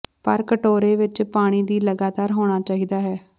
ਪਰ ਕਟੋਰੇ ਵਿੱਚ ਪਾਣੀ ਦੀ ਲਗਾਤਾਰ ਹੋਣਾ ਚਾਹੀਦਾ ਹੈ